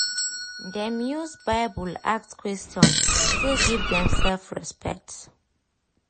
dem use bible ask question still give themselves respect